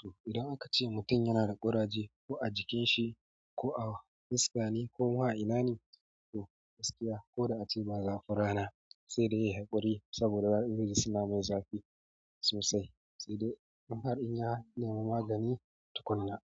To idan aka ce mutum yana da ƙuraje ko a jikin shi ko a fuska ne ko ma a inane, to gaskiya ko da ace ba zafin rana sai dai ya yi haƙuri saboda wa'adannin suna mai zafi sosai sai dai an harbi ya nema magani tukuna.